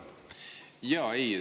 Jaa, ei.